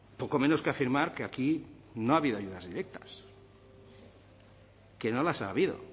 poco menos que afirmar que aquí no ha habido ayudas directas que no las ha habido